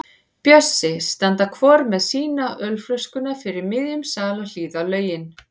Bjössi standa hvor með sína ölflöskuna fyrir miðjum sal og hlýða á lögin.